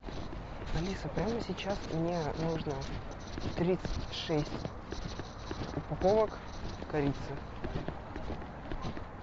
алиса прямо сейчас мне нужно тридцать шесть упаковок корицы